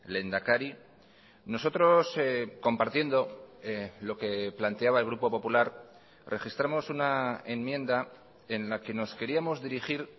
lehendakari nosotros compartiendo lo que planteaba el grupo popular registramos una enmienda en la que nos queríamos dirigir